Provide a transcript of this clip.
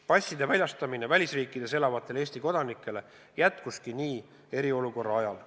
Passide väljastamine välisriikides elavatele Eesti kodanikele käiski eriolukorra ajal nii.